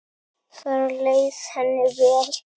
Þar leið henni vel.